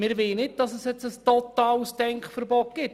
Wir wollen nicht, dass es jetzt zu einem totalen Denkverbot kommt.